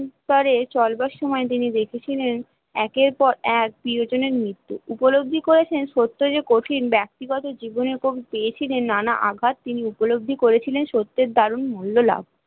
পরে চলবার সময়ে তিনি দেখেছিলেন একের পর এক প্রিয়জনের মৃত্যু উপলব্ধি করেছেন সত্য যে কঠিন ব্যক্তিগত জীবন এবং পেয়েছিলেন নানা ঘাট তিনি উপলব্ধি করেছিলেন সত্যের দারুন মূল্য লাভ